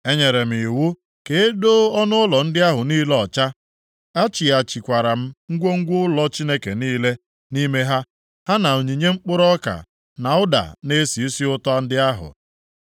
Enyere m iwu ka e doo ọnụụlọ ndị ahụ niile ọcha, a chighachikwara m ngwongwo ụlọ Chineke niile nʼime ha, ha na onyinye mkpụrụ ọka, na ụda na-esi isi ụtọ ndị ahụ.